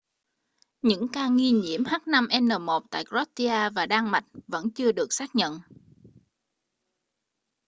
những ca nghi nhiễm h5n1 tại croatia và đan mạch vẫn chưa được xác nhận